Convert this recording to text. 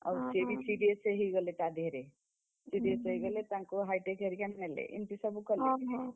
ଆଉ ସିଏ ବି serious ହେଇଗଲେ ତା ଧ୍ୟଏରେ। ହେଇଗଲେ ତାଙ୍କୁ high tech ହରିକା ନେଲେ ତାଙ୍କୁ ଏମିତି ସବୁ କଲେ